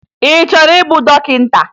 Ị chọrọ ịbụ dọkịta?